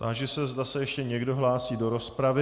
Táži se, zda se ještě někdo hlásí do rozpravy.